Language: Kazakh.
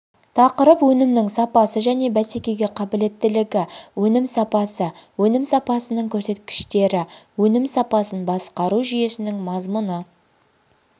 тақырып өнімнің сапасы және бәсекеге қабілеттілігі өнім сапасы өнім сапасының көрсеткіштері өнім сапасын басқару жүйесінің мазмұны